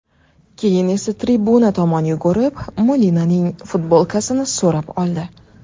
Keyin esa tribuna tomon yugurib, Molinaning futbolkasini so‘rab oldi.